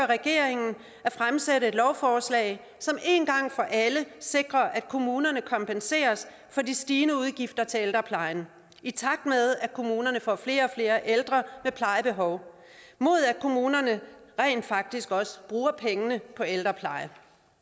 regeringen at fremsætte et lovforslag som en gang for alle sikrer at kommunerne kompenseres for de stigende udgifter til ældreplejen i takt med at kommunerne får flere og flere ældre med plejebehov mod at kommunerne rent faktisk også bruger pengene på ældrepleje